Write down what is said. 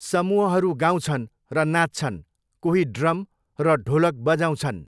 समूहहरू गाउँछन् र नाच्छन्, कोही ड्रम र ढोलक बजाउँछन्।